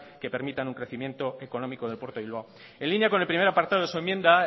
que permitan un crecimiento económico del puerto de bilbao en línea con el primer apartado de su enmienda